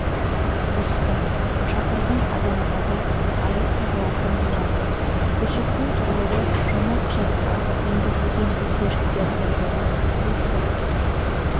бұзса шақырған адамға да айып тағылатын болады көші-қон туралы жаңа құжатқа енгізілген өзгерістердің бірі осы